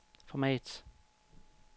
format